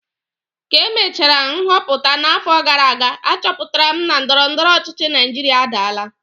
Ka emechara nhọpụta n'afọ gara aga, achọpụtara m na ndọrọ ndọrọ ọchịchị Naijiria adaala